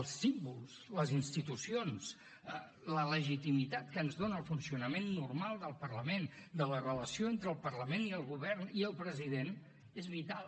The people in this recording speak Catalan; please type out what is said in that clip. els símbols les institucions la legitimitat que ens dona el funcionament normal del parlament de la relació entre el parlament i el govern i el president és vital